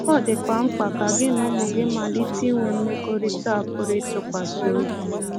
Ọ dịkwa mkpa ka gị na ụmụ gị malite inwe mmekọrịta a pụrụ ịtụkwasị obi.